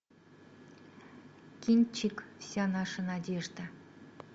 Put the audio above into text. кинчик вся наша надежда